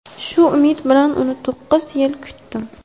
Shu umid bilan uni to‘qqiz yil kutdim.